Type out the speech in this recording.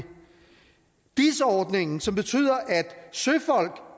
dis ordningen som betyder at søfolk